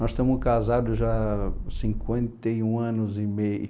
Nós estamos casados já cinquenta e um anos e meio.